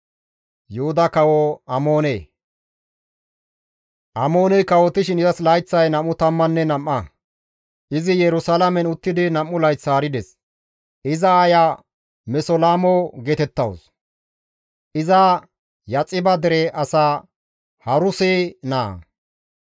Amooney kawotishin izas layththay 22; izi Yerusalaamen uttidi 2 layth haarides. Iza aaya Mesolamo geetettawus; iza Yaxiba dere as Haruse naa.